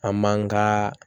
An man ka